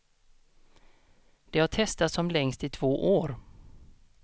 De har testats som längst i två år.